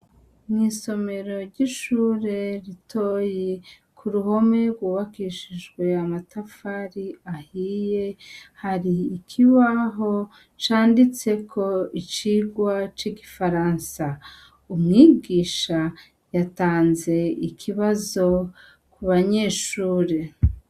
Mw'isomero ry'ishure ritoyi ku ruhomi rwubakishijwe amatafari ahiye hari ikiwaho canditseko icirwa c'igifaransa umwigisha yatanze ikibazo ku banyeshuru gi.